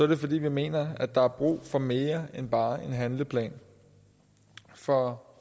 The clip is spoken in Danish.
det fordi vi mener der er brug for mere end bare en handleplan for